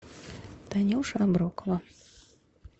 танюша аброкова